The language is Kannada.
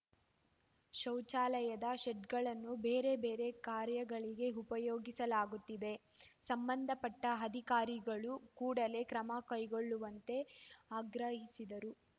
ಶೌಚಾಲಯದ ಶೆಡ್‌ಗಳನ್ನು ಬೇರೆ ಬೇರೆ ಕಾರ್ಯಗಳಿಗೆ ಉಪಯೋಗಿಸಲಾಗುತ್ತಿದೆ ಸಂಬಂಧಪಟ್ಟಅಧಿಕಾರಿಗಳು ಕೂಡಲೇ ಕ್ರಮ ಕೈಗೊಳ್ಳುವಂತೆ ಆಗ್ರಹಿಸಿದರು